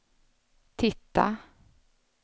titta